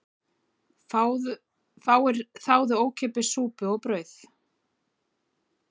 Fáir þáðu ókeypis súpu og brauð